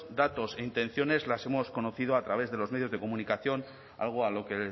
datos e intenciones las hemos conocido a través de los medios de comunicación algo a lo que